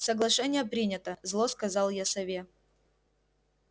соглашение принято зло сказал я сове